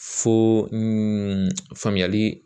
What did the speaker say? Fo faamuyali